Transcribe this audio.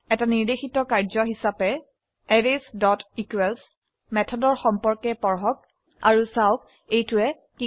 নিৰ্দেশিত কাম হিসাবে arraysইকোৱেলছ মেথডৰ সম্পৰ্কে পঢ়ক আৰু চাওক এইটোৱে কি কৰে